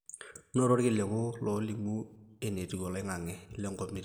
noto irkiliku loolimu entiu oloing'ange lenkop nitii